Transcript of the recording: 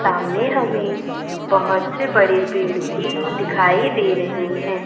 सामने हमें बहोत से बडे पेड़ भी दिखाई दे रहे हैं।